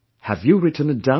Have you written it down